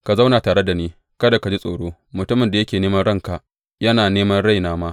Ka zauna tare da ni, kada ka ji tsoro mutumin da yake neman ranka, yana nema raina ma.